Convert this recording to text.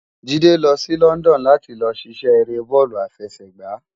Jide ti lò si London làti lò sisè éré bòlú àfèsègbá